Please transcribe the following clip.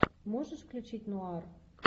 можешь включить нуар